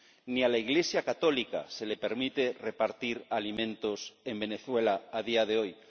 Ni a la iglesia católica se le permite repartir alimentos en Venezuela a día de hoy.